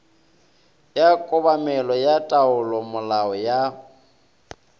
ya kobamelo ya taolomolao ya